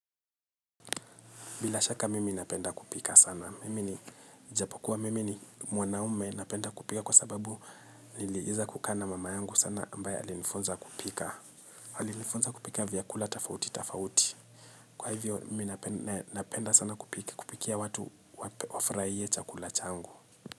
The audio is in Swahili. Bila shaka mimi napenda kupika sana. Mimi ni mwanaume napenda kupika kwa sababu nilieza kukaa na mama yangu sana ambaye alinifunza kupika. Alinifunza kupika vyakula tofauti tafauti. Kwa hivyo mimi napenda sana kupikia watu waferaie chakula changu.